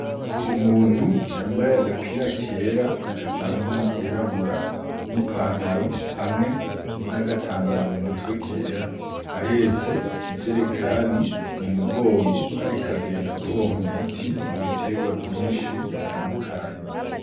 Umuntu yambaye agapira kera kavanze n'iryirabura, n'ipantaro hamwe n'agatambara mu mutwe kera, ahetse ijerekani mu mugongo ariko agenda apompa umuti mu bitegwa vyinshi bitandukanye.